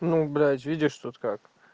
ну блядь видишь тут как